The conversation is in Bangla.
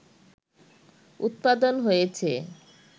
উৎপাদন হয়েছে